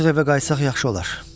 Artıq evə qayıtsaq yaxşı olar.